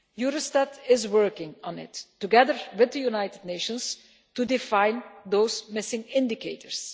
Eurostat is working on it, together with the United Nations, to define those missing indicators.